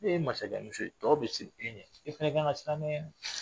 E ye masakɛmuso ye tɔw bɛ siran e ɲɛ i fana kan ka siran ne ɲɛ